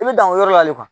I bɛ dan o yɔrɔ la